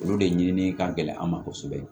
Olu de ɲini ka gɛlɛn an ma kosɛbɛ